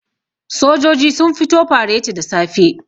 sojoji sun fito fareti da safe